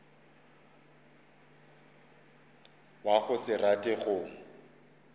wa go se rate go